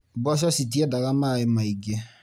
Mboco citiendaga maaĩ maingĩ.